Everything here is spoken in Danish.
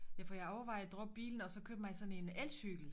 Ja for jeg overvejer at droppe bilen og så købe mig sådan en elcykel